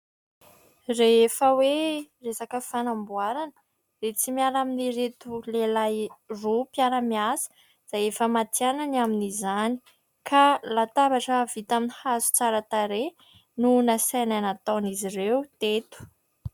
Rehefa hoe resaka fanamboarana, dia tsy miala amin'ireto lehilahy roa mpiara-miasa izay efa matihanina ny amin'izany, ka latabatra vita amin'ny hazo tsara tarehy no nasaina nataon'izy ireo teto.